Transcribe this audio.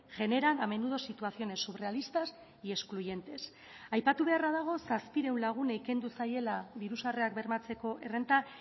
generan a menudo situaciones surrealistas y excluyentes aipatu beharra dago zazpiehun lagunei kendu zaiela diru sarrerak bermatzeko errenta